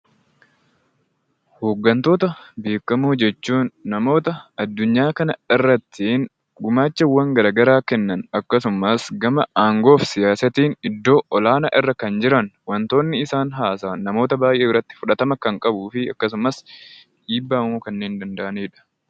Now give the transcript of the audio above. Hooggantoota beekamoo jechuun namoota addunyaa kanarrati gumaacha garaagaraa Kennan gama aangoo fi siyaasaatiin iddoo olaanaa irra jiran wantoonni isaan haasa'an namoota hedduu biratti fudhatama kan qabuu fi akkasumas dhiibbaa uumuu kanneen danda'anidha.